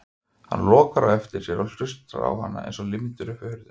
Hann lokar á eftir sér og horfir á hana eins og límdur upp við hurðina.